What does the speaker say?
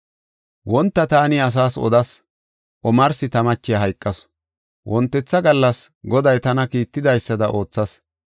Wonta taani asaas odas; omarsi ta machiya hayqasu. Wontetha gallas Goday tana kiittidaysada oothas.